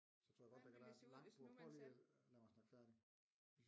Så tror jeg godt der kan være et langt bord prøv lige lad mig snakke færdig